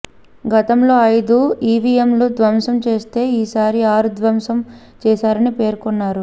గతంలో ఐదు ఈవీఎంలు ధ్వంసం చేస్తే ఈసారి ఆరు ధ్వంసం చేశారని పేర్కొన్నారు